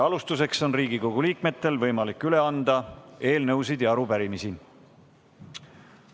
Alustuseks on Riigikogu liikmetel võimalik üle anda eelnõusid ja arupärimisi.